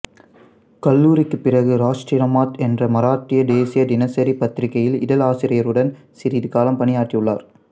கல்லூரிக்கு பிறகு ராஷ்டிரமத் என்ற மராட்டிய தேசிய தினசரி பத்திரிக்கையில் இதழாசிரியருடன் சிறிது காலம் பணியாற்றியுள்ளார்